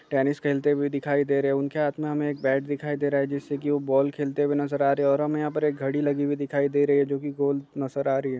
Tennis खेलते हुए दिखाई दे रहे हैं उनके हाथ में हमे एक बैट दिखाई दे रहा है जिससे कि वो बॉल खेलते हुए नज़र आ रहे हैं और हमें यहाँ पर एक घड़ी लगी हुई दिखाई दे रही है जो कि गोल नज़र आ रही हैं।